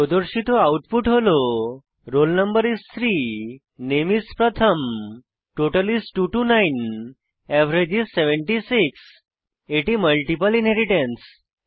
প্রদর্শিত আউটপুট হল roll no is 3 নামে is প্রথম টোটাল is 229 এভারেজ is 76 এটি মাল্টিপল ইনহেরিট্যান্স